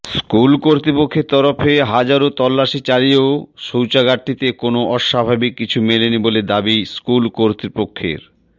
school কর্তৃপক্ষের তরফে হাজারো তল্লাশি চালিয়েও শৌচাগারটিতে কোনও অস্বাভাবিক কিছু মেলেনি বলে দাবি স্কুল কর্তৃপক্ষের